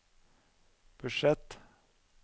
budsjett